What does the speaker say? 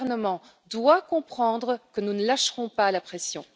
gouvernement doit comprendre que nous ne lâcherons pas la pression.